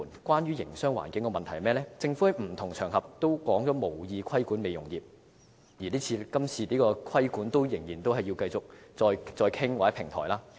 關於營商環境的問題，政府在不同場合都指出無意規管美容業，而今次的規管仍只是繼續再作討論或設立平台。